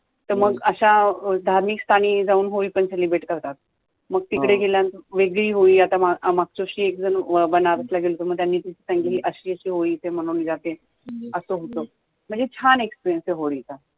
तर मग अशा धार्मिक स्थानी जाऊन होळी पण celebrate करतात. मग तिकडे गेल्यानंतर वेगळी होळी, आता मागच्या वर्षी एकजण बॅनर्स ला गेला होता म त्यांनी अशी अशी होळी इकडे मानवली जाते असं होतं, म्हणजे छान experience आहे होळी चा